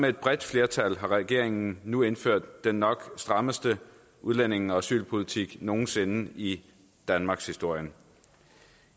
et bredt flertal har regeringen nu indført den nok strammeste udlændinge og asylpolitik nogen sinde i danmarkshistorien